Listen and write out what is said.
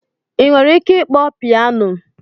Ị nwere ike ịkpọ pianọ?